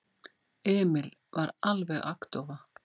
Emil var alveg agndofa.